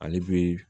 Ale bɛ